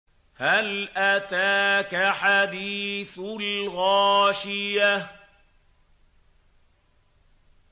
هَلْ أَتَاكَ حَدِيثُ الْغَاشِيَةِ